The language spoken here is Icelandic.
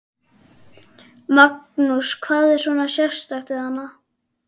Magnús: Hvað er svona sérstakt við hann?